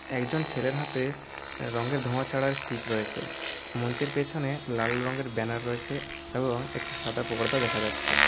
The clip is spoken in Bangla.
একজন ছেলের হাতে রঙের ধোঁয়া ছাড়া স্টিক রয়েছে মঞ্চের পিছনে লাল রঙের ব্যানার রয়েছে এবং একটি সাদা পর্দা দেখা যাচ্ছে।